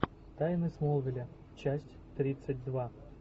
тайны смолвиля часть тридцать два